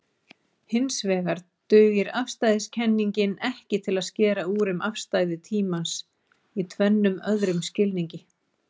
Hinsvegar dugar afstæðiskenningin ekki til að skera úr um afstæði tímans í tvennum öðrum skilningi.